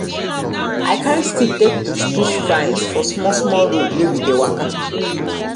i carry stick take push push vines for small small road wey we dey waka